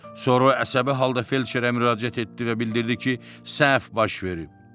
Sonra o əsəbi halda felçerə müraciət etdi və bildirdi ki, səhv baş verib.